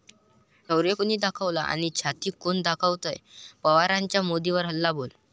शौर्य कुणी दाखवलं आणि छाती कोण दाखवतंय' पवारांचा मोदींवर हल्लाबोल